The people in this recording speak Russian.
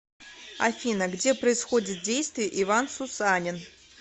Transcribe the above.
афина где происходит действие иван сусанин